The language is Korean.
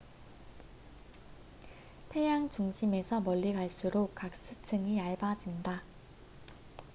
태양 중심에서 멀리 갈수록 가스층이 얇아진다